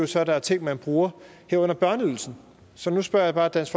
så der er ting man bruger herunder børneydelsen så nu spørger jeg bare dansk